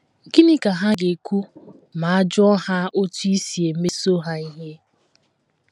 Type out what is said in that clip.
Gịnị ka ha ga - ekwu ma a jụọ ha otú i si emeso ha ihe?